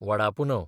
वडापुनव